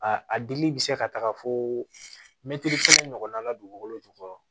A a dili bɛ se ka taga fo mɛtiri kelen ɲɔgɔnna la dugukolo jukɔrɔ